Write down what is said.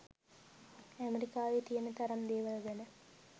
ඇමරිකාවේ තියෙන තරම් දේවල් ගැන